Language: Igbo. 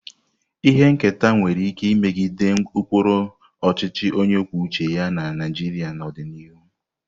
Ihe nketa nwere ike imegide ụkpụrụ ọchịchị onye kwuo uche ya na Naịjirịa n'ọdịnihu.